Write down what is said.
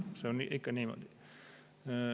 See on ikka niimoodi.